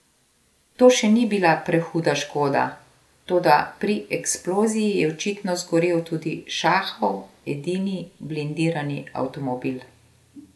To še ni bila prehuda škoda, toda pri eksploziji je očitno zgorel tudi šahov edini blindirani avtomobil.